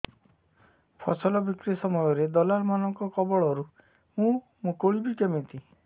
ଫସଲ ବିକ୍ରୀ ସମୟରେ ଦଲାଲ୍ ମାନଙ୍କ କବଳରୁ ମୁଁ ମୁକୁଳିଵି କେମିତି